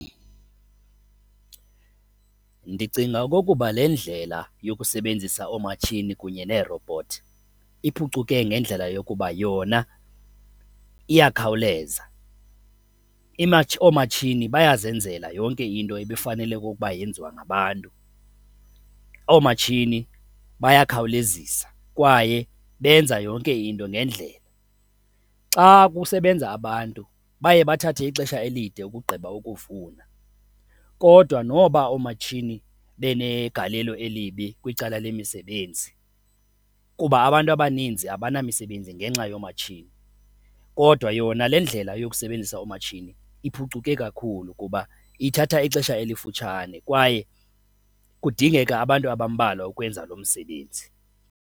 Ndicinga okokuba le ndlela yokusebenzisa oomatshini kunye neerowubhothi iphucuke ngendlela yokuba yona iyakhawuleza, oomatshini bazenzela yonke into ebefanele okokuba yenziwa ngabantu. Oomatshini bayakhawulezisa kwaye benza yonke into ngendlela. Xa kusebenza abantu baye bathathe ixesha elide ukugqiba ukuvuna kodwa noba oomatshini benegalelo elibi kwicala lemisebenzi kuba abantu abaninzi abanamisebenzi ngenxa yoomatshini kodwa yona le ndlela yokusebenzisa oomatshini iphucuke kakhulu kuba ithatha ixesha elifutshane kwaye kudingeka abantu abambalwa ukwenza lo msebenzi.